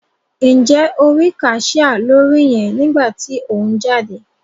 Njẹ o ri cashier lórí yẹn nigba ti o n jáde?